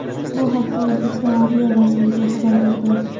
Bu haqda O‘zbekiston Adliya vazirligi xabar berdi .